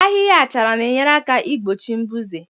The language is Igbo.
Ahịhịa achara na enyere aka ị gbochi mbuze